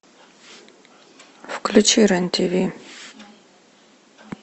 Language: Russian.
включи рен тиви